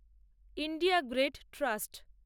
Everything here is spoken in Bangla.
India grid trust